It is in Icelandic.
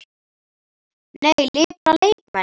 Nei, Lipra leikmenn?